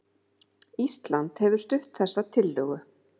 Ísland hefur stutt þessa tillögu